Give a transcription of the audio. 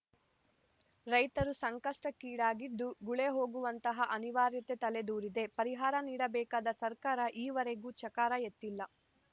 ರೈತರು ಸಂಕಷ್ಟಕ್ಕೀಡಾಗಿದ್ದು ಗುಳೆ ಹೋಗುವಂತಹ ಅನಿವಾರ್ಯತೆ ತಲೆ ದೂರಿದೆ ಪರಿಹಾರ ನೀಡಬೇಕಾದ ಸರ್ಕಾರ ಈವರೆಗೂ ಚಕಾರ ಎತ್ತಿಲ್ಲ